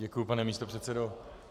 Děkuji, pane místopředsedo.